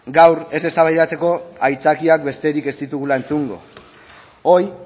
gaur ez eztabaidatzeko haitzakiak besterik ez ditugula entzungo hoy